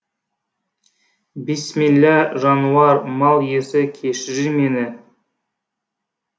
бисмилла жануар мал иесі кешірер мені